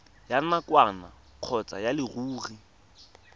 ya nakwana kgotsa ya leruri